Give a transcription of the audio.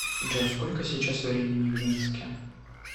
джой сколько сейчас времени в минске